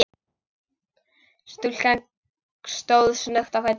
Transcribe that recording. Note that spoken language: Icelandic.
Stúlkan stóð snöggt á fætur.